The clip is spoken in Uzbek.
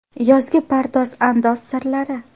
Yozgi pardoz-andoz sirlari.